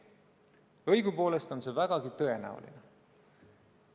Õigupoolest on see vägagi tõenäoline.